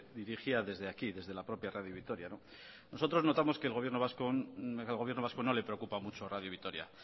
dirigía desde aquí desde la propia radio vitoria nosotros notamos que al gobierno vasco no le preocupa mucho radio vitoria